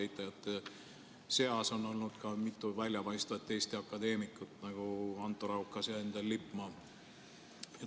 Eitajate seas on olnud ka mitu väljapaistvat Eesti akadeemikut, nagu Anto Raukas ja Endel Lippmaa.